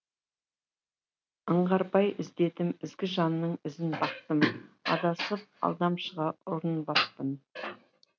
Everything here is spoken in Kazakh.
аңғарбай іздедім ізгі жанның ізін бақтым адасып алдамшыға ұрынбаппын